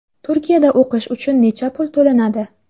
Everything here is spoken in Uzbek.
Turkiyada o‘qish uchun necha pul to‘lanadi?